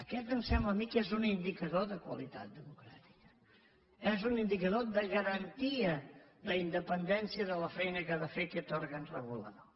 aquest em sembla a mi que és un indicador de qualitat democràtica és un indicador de garantia d’independència de la feina que ha de fer aquest òrgan regulador